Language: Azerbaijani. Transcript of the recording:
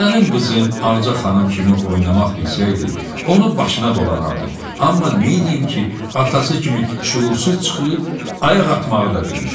mənim qızım Ağca xanım kimi oynamaq bilsəydi, onun başına dolanardım, amma neyniyim ki, atası kimi şüursuz çıxıb ayaq atmağı da bilmir.